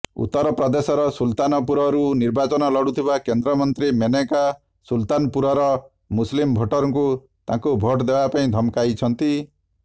ଉତ୍ତରପ୍ରଦେଶର ସୁଲତାନପୁରରୁ ନିର୍ବାଚନ ଲଢ଼ୁଥିବା କେନ୍ଦ୍ରମନ୍ତ୍ରୀ ମେନକା ସୁଲତାନପୁରର ମୁସଲିମ୍ ଭୋଟରଙ୍କୁ ତାଙ୍କୁ ଭୋଟ୍ ଦେବାପାଇଁ ଧମକାଇଛନ୍ତି